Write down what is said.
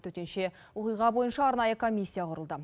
төтенше оқиға бойынша арнайы комиссия құрылды